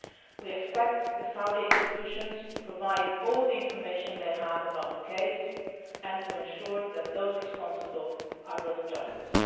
We expect the Saudi institutions to provide all the information they have about the case and to ensure that those responsible are brought to justice.